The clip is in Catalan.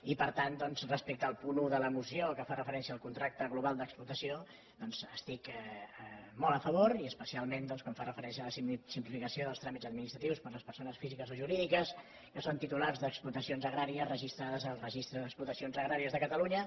i per tant doncs respecte al punt un de la moció que fa referència al contracte global d’explotació doncs hi estic molt a favor i especialment doncs quan fa referència a la simplificació dels tràmits administratius per a les persones físiques i jurídiques que són titulars d’explotacions agràries registrades en el registre d’explotacions agràries de catalunya